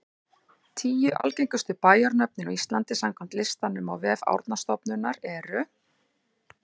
Tíu algengustu bæjarnöfnin á Íslandi samkvæmt listanum á vef Árnastofnunar eru: